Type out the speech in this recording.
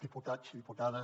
diputats diputades